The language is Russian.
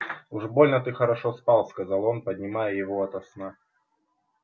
уж больно ты хорошо спал сказал он поднимая его ото сна